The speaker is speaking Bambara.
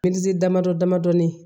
damadɔ damadɔni